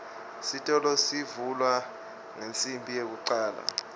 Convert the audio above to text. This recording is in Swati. sitolo sivulwa ngensimbi yekucale